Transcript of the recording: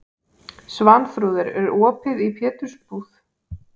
Svanþrúður, er opið í Pétursbúð?